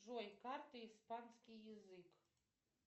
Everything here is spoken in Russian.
джой карты испанский язык